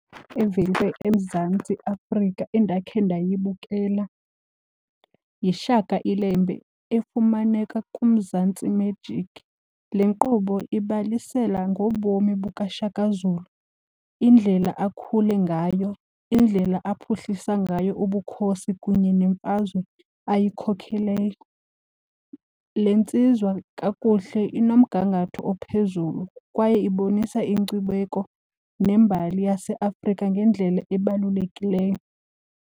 eMzantsi Afrika endakhe ndayibukela yiShaka Ilembe efumaneka kuMzantsi Magic. Le nkqubo ibalisela ngobomi bukaShaka Zulu, indlela akhule ngayo, indlela aphuhlisa ngayo ubukhosi kunye nemfazwe ayikhokheleyo. Le ntsizwa kakuhle inomgangatho ophezulu kwaye ibonisa inkcubeko nembali yaseAfrika ngendlela ebalulekileyo.